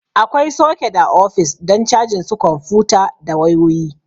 Akwai soket a ofis don cajin su kwamfuta da wayoyi